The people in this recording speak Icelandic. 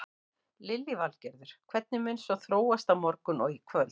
Lillý Valgerður: Hvernig mun svo þróast á morgun og í kvöld?